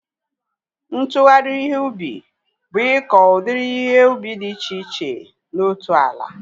Ntụgharị ihe ubi bụ ịkọ udiri ihe ubi dị iche iche na otu ala